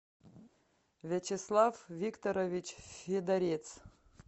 вячеслав викторович федорец